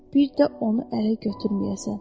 Bir də onu ələ götürməyəsən.